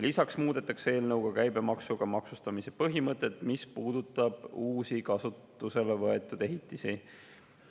Lisaks muudetakse käibemaksuga maksustamise põhimõtet, mis puudutab uusi kasutusele võetud ehitisi.